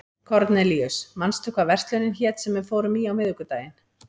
Kornelíus, manstu hvað verslunin hét sem við fórum í á miðvikudaginn?